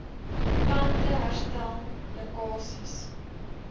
plante herstel lekkasies